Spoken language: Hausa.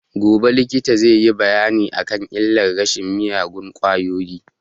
Gobe likita zai yi bayani a kan illar shan miyagun ƙwayoyi